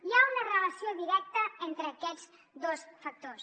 hi ha una relació directa entre aquests dos factors